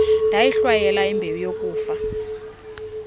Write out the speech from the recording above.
ndayihlwayela imbewu yokufa